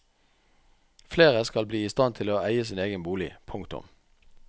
Flere skal bli i stand til å eie sin egen bolig. punktum